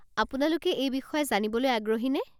আপোনালোকে এই বিষয়ে জানিবলৈ আগ্রহীনে?